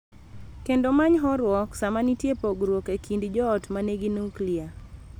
Kendo many horuok sama nitie pogruok e kind joot ma nigi nuklia.